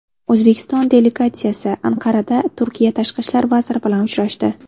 O‘zbekiston delegatsiyasi Anqarada Turkiya Tashqi ishlar vaziri bilan uchrashdi.